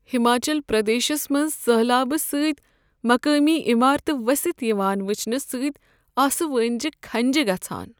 ہماچل پردیشس منٛز سٔہلابہٕ سۭتۍ مقٲمی عمارتہٕ ؤستھ یوان وٕچھنہٕ سۭتۍ آسہٕ وٲنجہ کھنٛجہ گژھان۔